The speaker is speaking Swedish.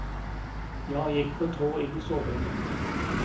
Jag gick på tå in i sovrummet.